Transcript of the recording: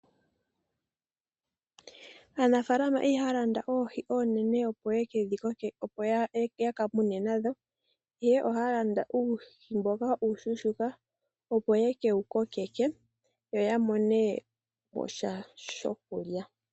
Aanafaalama ihaya landa oohi oonene opo yeke dhi mune. Ihe oha ya landa uuhi mboka uushuushuuka opo yekewu kokeke yo ya mone mosha shokulya.